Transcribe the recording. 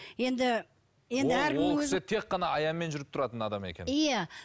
енді ол кісі тек қана аянмен жүріп тұратын адам екен иә